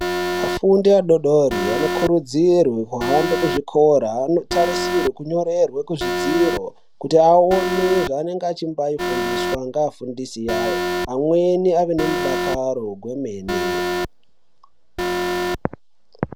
Vafundi vadodori vanokurudzirwa kuhambe kuzvikora. Anotarisirwe kunyorerwe kuzvidziro kuti aone zvaanenge achibaifundiswa ngeafundisi awo. Amweni ave nemudakaro gwemene.